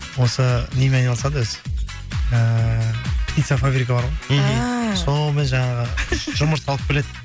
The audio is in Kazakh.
осы немен айналысады өзі ііі птицафабрика бар ғой мхм ааа солмен жаңағы жұмыртқа алып келеді